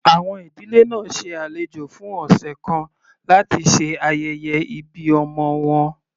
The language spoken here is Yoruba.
Àwọn ìdílé náà ṣe alejò fún ọ̀sẹ̀ kan láti ṣe ayẹyẹ ìbí ọmọ wọn.